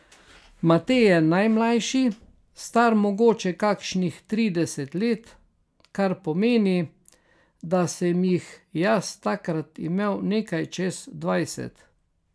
Matej je najmlajši, star mogoče kakšnih trideset let, kar pomeni, da sem jih jaz takrat imel nekaj čez dvajset.